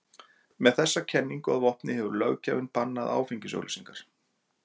Með þessa kenningu að vopni hefur löggjafinn bannað áfengisauglýsingar.